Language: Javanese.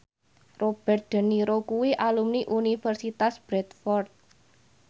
Robert de Niro kuwi alumni Universitas Bradford